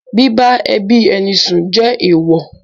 Bíbá ẹbí ẹni sùn ju èèwọ̀.